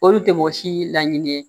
Olu tɛ mɔgɔ si laɲini ye